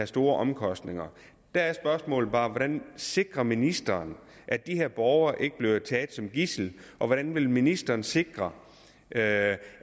store omkostninger der er spørgsmålet bare hvordan sikrer ministeren at de her borgere ikke bliver taget som gidsel og hvordan vil ministeren sikre at